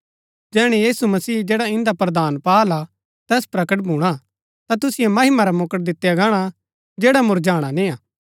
जैहणै यीशु मसीह जैड़ा इन्दा प्रधान पाहल हा तैस प्रकट भूणा ता तुसिओ महिमा रा मुकुट दितआ गाणा जैडा मुरझाणा निय्आ